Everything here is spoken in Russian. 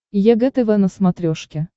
егэ тв на смотрешке